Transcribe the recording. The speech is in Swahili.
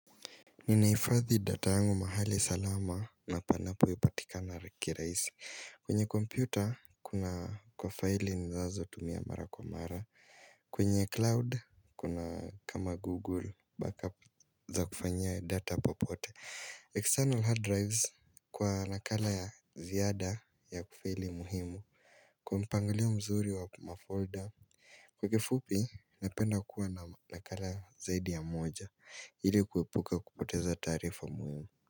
Ninahifadhi data yangu mahali salama na panapoipatika kirahisi. Kwenye kompyuta kuna kwa faili ninazotumia mara kwa mara. Kwenye cloud kuna kama google backup za kufanyia data popote. External hard drives kwa nakala ya ziada ya kufaili muhimu. Kwa mpangilio mzuri wa mafolder. Kwa kifupi napenda kuwa na nakala zaidi ya moja ili kuepuka kupoteza taarifa muhimu.